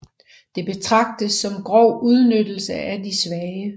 Det betragtes som grov udnyttelse af de svage